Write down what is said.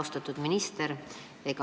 Austatud minister!